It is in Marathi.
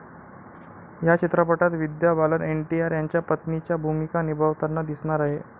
या चित्रपटात विद्या बालन एनटीआर यांच्या पत्नीची भूमिका निभावताना दिसणार आहे.